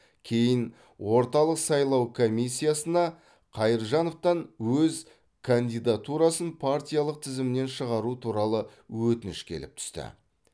кейін орталық сайлау комиссиясына қайыржановтан өз кандидатурасын партиялық тізімнен шығару туралы өтініш келіп түсті